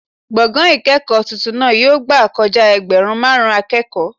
Gbọ̀ngàn ìkẹ́kọ̀ọ́ tuntun náà yóò gbà kojá ẹgbẹ̀rún máàrún akẹ́kọ̀ọ́